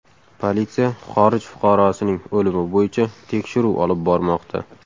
Politsiya xorij fuqarosining o‘limi bo‘yicha tekshiruv olib bormoqda.